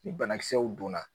Ni banakisɛw donna